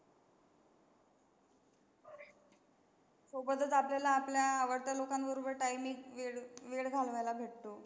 सोबतच आपलेल्या आपल्या आवडत्या लोकांसोबत timing वेळ घालवायला भेटतो.